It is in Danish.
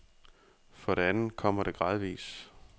For det andet kommer det gradvis.